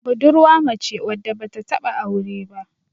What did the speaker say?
budurwa mace wadda ba ta taba aure ba